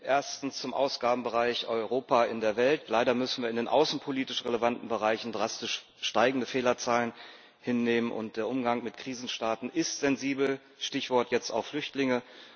Erstens zum Ausgabenbereich Europa in der Welt Leider müssen wir in den außenpolitisch relevanten Bereichen drastisch steigende Fehlerzahlen hinnehmen, und der Umgang mit Krisenstaaten ist sensibel jetzt auch unter dem Stichwort Flüchtlinge.